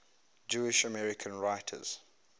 jewish american writers